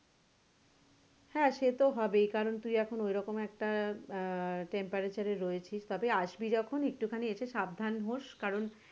হ্যাঁ সেতো হবেই কারন তুই এখন ওরকম একটা আহ temperature এ রয়েছিস তবে আসবি যখন একটু খানি সাবধান হয়ে রস কারন,